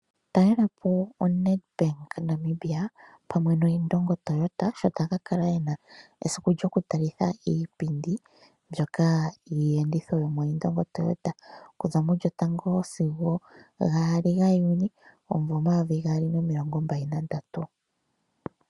Talela po oNedbank Namibia pamwe noIndongo Toyota, sho taya ka kale ye na esiku lyokutalitha iipindi mbyoka yiiyenditho yomoIndongo Toyota okuza mu 01-02 Juni 2023.